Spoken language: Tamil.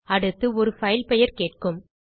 அடுத்து ஒரு பைல் பெயர் கேட்கும்